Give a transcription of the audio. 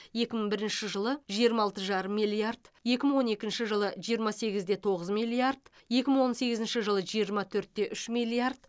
екі мың бірінші жылы жиырма алты жарым миллиард екі мың он екінші жылы жиырма сегіз де тоғыз миллиард екі мың он сегізінші жылы жиырма төрт те үш миллиард